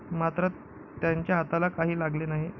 मात्र त्यांच्या हाताला काही लागले नाही.